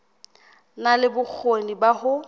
na le bokgoni ba ho